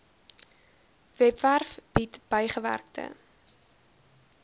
webwerf bied bygewerkte